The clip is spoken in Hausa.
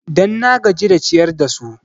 Dan na gaji da ciyar da su